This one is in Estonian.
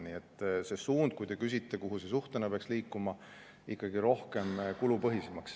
Nii et suund on see – te küsite, kuhu see suhtena peaks liikuma –, et peaks minema rohkem kulupõhiseks.